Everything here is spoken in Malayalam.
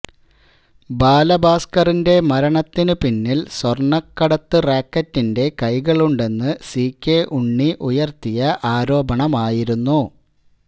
ബാലഭാസ്കറിന്റെ മരണത്തിനു പിന്നില് സ്വര്ണക്കടത്ത് റാക്കറ്റിന്റെ കൈകളുണ്ടെന്ന് സി കെ ഉണ്ണി ഉയര്ത്തിയ ആരോപണമായിരുന്നു